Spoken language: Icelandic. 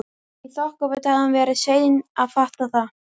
Í þokkabót hafði hún verið sein að fatta þetta.